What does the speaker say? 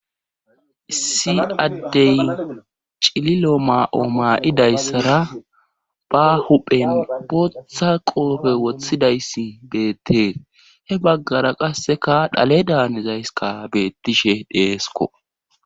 si addey cililo maa7o maa7idayssara ba huphen bootha qoofe wothidayssi beettee he baggara qasseka dhale daanizayska beettishe deesko